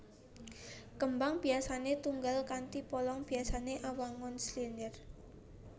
Kembang biasané tunggal kanthi polong biasané awangun silinder